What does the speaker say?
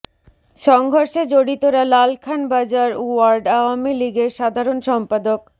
সংঘর্ষে জড়িতরা লালখান বাজার ওয়ার্ড আওয়ামী লীগের সাধারণ সম্পাদক